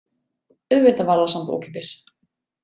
Auðvitað var það samt ókeypis.